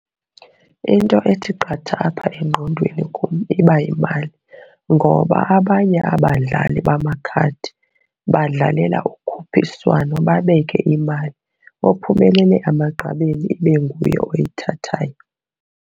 Into ethi qatha apha engqondweni kum iba yimali. Ngoba abanye abadlali bamakhadi badlalela ukhuphiswano babeke imali, ophumelele emagqabini ibe nguye oyithathayo.